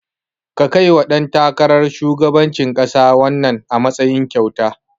Ka kaiwa ɗan takarar shugabancin ƙasa wannan, a matsayin kyauta.